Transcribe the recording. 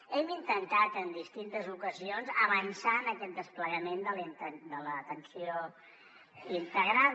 hem intentat en distintes ocasions avançar en aquest desplegament de l’atenció integrada